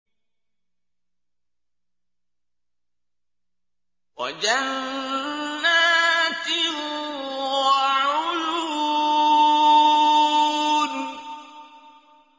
وَجَنَّاتٍ وَعُيُونٍ